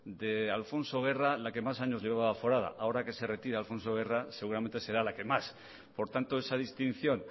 de alfonso guerra la que más años llevaba aforada ahora que se retira alfonso guerra seguramente será la que más por tanto esa distinción